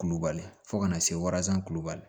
Kulubali fɔ ka na se warazan kulubali